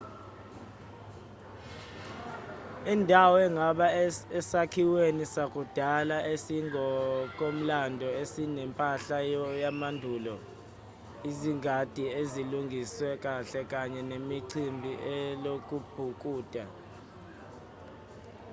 indawo ingaba esakhiweni sakudala esingokomlando esinempahla yamandulo izingadi ezilungiswe kahle kanye nechibi lokubhukuda